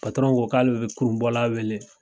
ko k'ale bɛ kurunbɔla wele.